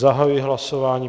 Zahajuji hlasování.